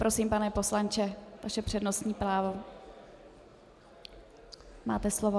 Prosím, pane poslanče, vaše přednostní právo, máte slovo.